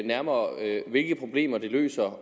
nærmere hvilke problemer det løser